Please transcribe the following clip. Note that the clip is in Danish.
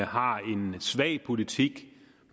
har en svag politik